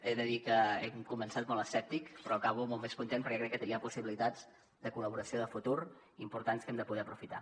he de dir que he començat molt escèptic però acabo molt més content perquè crec que hi ha possibilitats de col·laboració de futur importants que hem de poder aprofitar